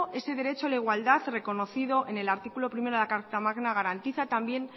ese derecho a la igualdad recogido en el artículo primero de la carta magna garantiza también